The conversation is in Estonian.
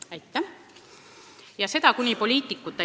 Kolm minutit lisaaega, palun!